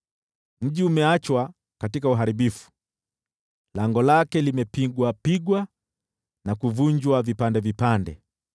Mji umeachwa katika uharibifu, lango lake limevunjwa vipande.